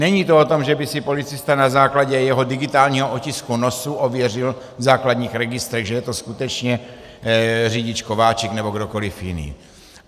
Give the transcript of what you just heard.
Není to o tom, že by si policista na základě jeho digitálního otisku nosu ověřil v základních registrech, že je to skutečně řidič Kováčik nebo kdokoliv jiný.